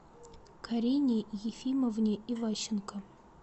карине ефимовне иващенко